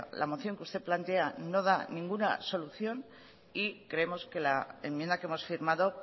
la moción que usted plantea no da ninguna solución y creemos que la enmienda que hemos firmado